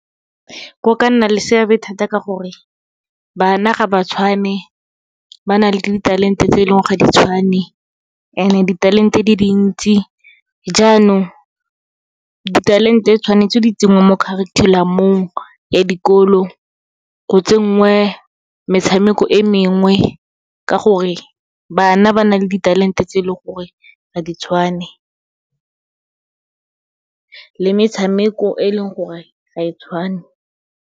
Go ka nna le seabe thata ka gore, bana ga ba tshwane, ba na le ditalente tse leng gore ga di tshwane, and-e ditalente di dintsi jaanong, ditalente tshwanetse di tsenngwa mo curriculum-ong ya dikolo. Go tsenngwe metshameko e mengwe, ka gore bana ba na le ditalente tse leng gore ga di tshwane, le metshameko e leng gore ga e tshwane.